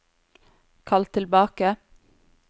kall tilbake